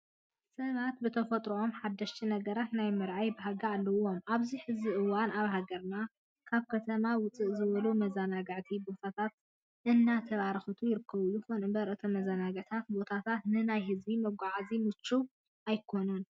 ሰባት ብተፈጥረኦም ሓደሽቲ ነገራት ናይ ምርኣይ ባህጊ ኣለዎም። ኣብዚ ሕዚ እዋን ኣብ ሃገርና ካብ ከተማ ውፅእ ዝበሉ መዘናጋዕቲ ቦታታት እናተበራኸቱ ይርከቡ። ይኹን እምበር እቶም መዘናጓዕቲ ቦታታት ንናይ ህዝቢ መጓዓዓዝያታት ምችዋት ኣይኾኑን።